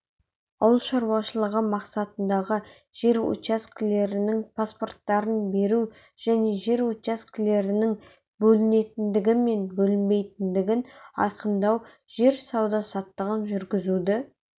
ауыл шаруашылығы мақсатындағы жер учаскелерінің паспорттарын беру жер учаскелерінің бөлінетіндігі мен бөлінбейтіндігін айқындау жер сауда-саттығын жүргізуді